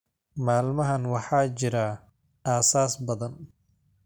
Maalmahan waxaa jira aasas badan